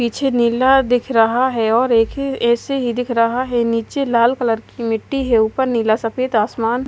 पीछे नीला दिख रहा है और एक ही ए_सी ही दिख रहा है नीचे लाल कलर की मिट्टी है ऊपर नीला सफेद आसमान--